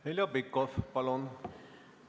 Heljo Pikhof, palun!